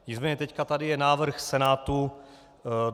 Nicméně teď tady je návrh Senátu.